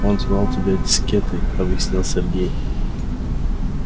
он звал тебя дискетой объяснил сергей